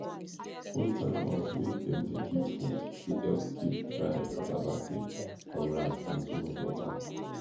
old time house wey dem de keep food de help keep dry cassava safe from rats and too much water